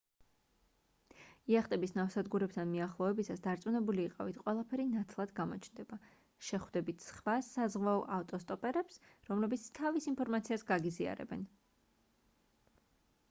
იახტების ნავსადგურებთან მიახლოებისას დარწმუნებული იყავით ყველაფერი ნათლად გამოჩნდება შეხვდებით სხვა საზღვაო ავტოსტოპერებს რომლებიც თავის ინფორმაციას გაგიზიარებენ